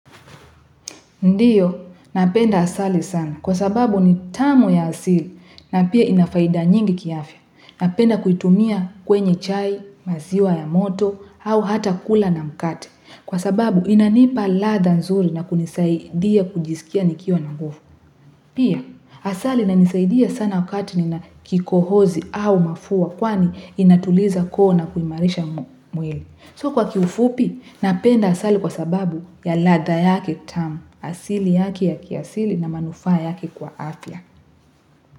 Ndiyo, napenda asali sana kwa sababu ni tamu ya asili na pia ina faida nyingi kiafya. Napenda kuitumia kwenye chai, maziwa ya moto, au hata kula na mkate. Kwa sababu inanipa ladha nzuri na kunisaidia kujiskia nikiwa na nguvu. Pia, asali inanisaidia sana wakati nina kikohozi au mafua kwani inatuliza koo na kuimarisha mwili. So kwa kiufupi, napenda asali kwa sababu ya ladha yake tamu, asili yake ya kiasili na manufaa yake kwa afya.